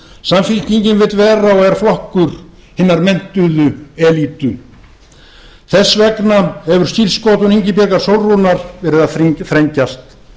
samfylkingin vill vera og er flokkur hinnar menntuðu elítu þess vegna hefur skírskotun ingibjargar sólrúnar verið að þrengjast